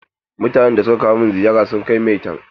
Mutanen da suka kawo min ziyara sun kai maitan.